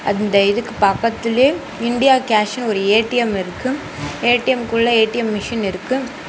அந்த இதுக்கு பக்கத்திலயே இண்டியாகேஷ்னு ஒரு ஏ_டி_எம் இருக்கு ஏ_டி_எம்க்குள்ள ஏ_டி_எம் மிஷின் இருக்கு.